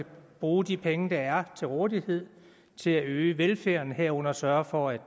bruge de penge der er til rådighed til at øge velfærden herunder at sørge for at